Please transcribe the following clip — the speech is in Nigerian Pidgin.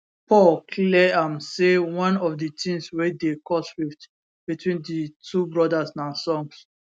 paul clear am say one of di tins wey dey cause rift between di two brothers na songs